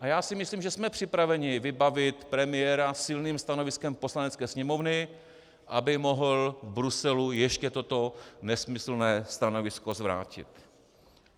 A já si myslím, že jsme připraveni vybavit premiéra silným stanoviskem Poslanecké sněmovny, aby mohl v Bruselu ještě toto nesmyslné stanovisko zvrátit.